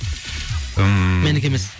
ммм менікі емес